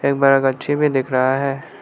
गच्छी भी दिख रहा है।